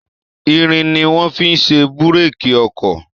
Irin ni wọ́n fi ṣe Búrèkì ọkọ̀